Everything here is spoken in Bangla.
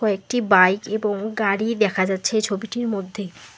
কয়েকটি বাইক এবং গাড়ি দেখা যাচ্ছে এই ছবিটির মধ্যে।